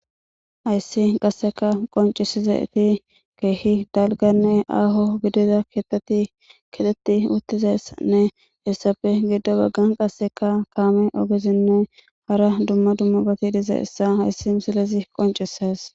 Hayssi qasseka qoncisizayti keehi dalganne aaho gidiza keththati kexxeti uttizayssanne hessappe giddo baggan qasseka kaame ogezinne hara dumma dummaba gidizayssa hayssi misilezi qoncises.